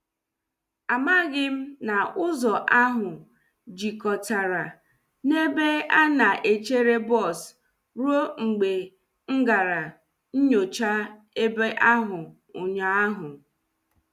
A maghị m na ụzọ ahụ jikọtara na ebe a na-echere bọs ruo mgbe m gara nyocha ebe ahụ ụnyaahụ.